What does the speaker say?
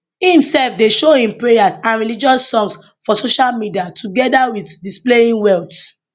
im sef dey show im prayers and religious songs for social media togeda wit displaying wealth